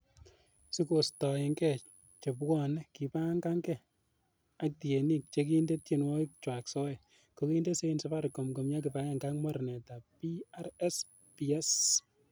Sikostoenge chebwone kibagenge ak tienik chekinde tienwogikchwak soet, kokinde sein safaricom komi kibagenge ak mornetab PRSPs.